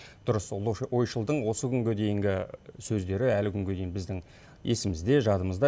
дұрыс ұлы ойшылдың осы күнге дейінгі сөздері әлі күнге дейін біздің есімізде жадымызда